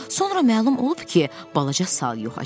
Sonra məlum olub ki, balaca sal yoxa çıxıb.